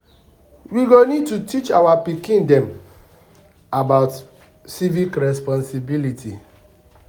We go need to teach our pikin dem about civic responsibility.